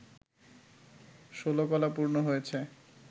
ষোলকলা পূর্ণ হয়েছে